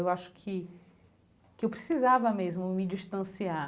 Eu acho que que eu precisava mesmo me distanciar.